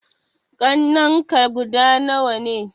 Ƙannenka guda nawa ne?